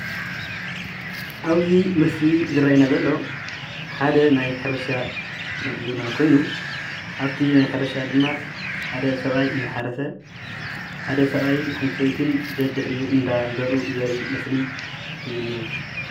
አብዚ ምስሊ ዝረአየና ዘሎ ሓደ ናይ ሕርሻ ምግብና ኮይኑ አብቲ ናይ ሕርሻ ድማ ሓደ ሰብአይ እንዳሓረሰ ሓደ ሰብአይን ሓንቲ ሰበይትን ደድሕሪኡ እንዳዘርኡ ዘርኢ ምስሊ እዩ ዝኒሀ።